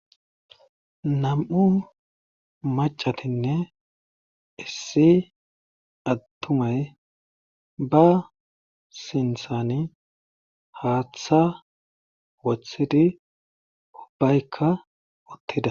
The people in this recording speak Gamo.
nam'u macatinne issi attumay ba sinthani haaththa woththidi ubbaykka uttida